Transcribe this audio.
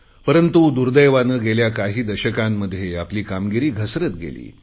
परंतु दुर्देवाने गेल्या काही दशकांमध्ये आपली कामगिरी घसरत गेली